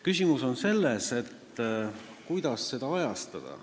Küsimus on selles, kuidas seda ajastada.